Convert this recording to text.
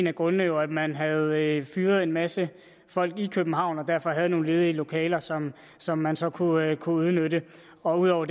af grundene jo at man havde fyret en masse folk i københavn og derfor havde nogle ledige lokaler som som man så kunne udnytte ud over